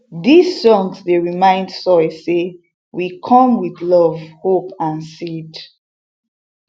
these songs dey remind soil say we come with love hope and seed